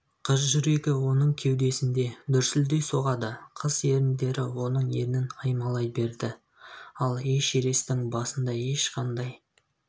қыз жүрегі оның кеудесінде дүрсілдей соғады қыз еріндері оның ернін аймалай берді ал эшересттің басында ешқандай